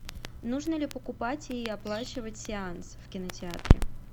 нужно ли покупать и оплачивать сеанс в кинотеатре